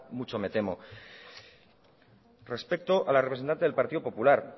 mucho me temo respecto a la representante del partido popular